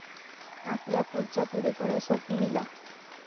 आपल्या पुढच्या पिढीकडे सोपविला